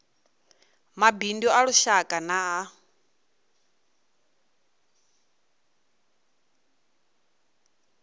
mabindu a lushaka na a